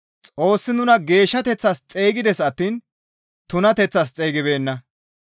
Xoossi nuna geeshshateththas xeygides attiin tunateththas xeygibeenna.